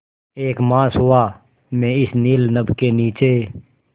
एक मास हुआ मैं इस नील नभ के नीचे